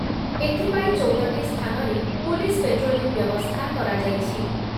ଏଥିପାଇଁ ଚଉଦ ଟି ସ୍ଥାନରେ ପୁଲିସ୍ ପେଟ୍ରୋଲିଂ ବ୍ୟବସ୍ଥା କରାଯାଇଛି।